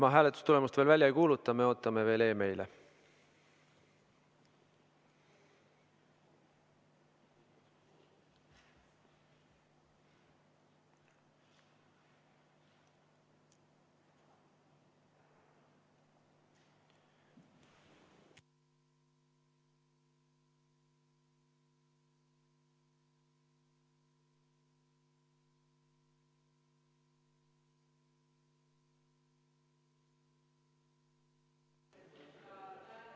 Ma hääletustulemust veel välja ei kuuluta, ootame veel meile.